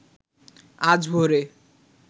আজ ভোরে